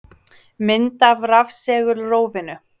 Mynd af rafsegulrófinu.